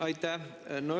Aitäh!